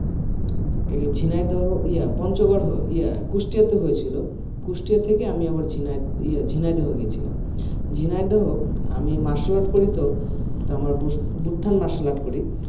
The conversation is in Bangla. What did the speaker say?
ঝিনাইদহ ইহা পঞ্চগড় ইহা কুষ্টিয়াতে হয়েছিল কুষ্টিয়া থেকে আমি আবার ঝিনাইদহ গেছিলাম ঝিনাইদহ আমি martial art করি তো আমার বুত্থান martial art করি